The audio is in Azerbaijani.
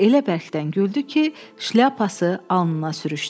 Və elə bərkdən güldü ki, şlyapası alnına sürüşdü.